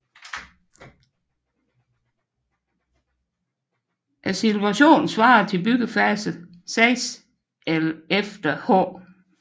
Situationen svarer til byggefase 6 efter H